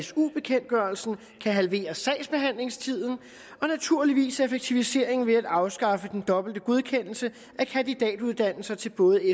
su bekendtgørelsen kan halvere sagsbehandlingstiden og naturligvis effektiviseringen ved at afskaffe den dobbelte godkendelse af kandidatuddannelser til både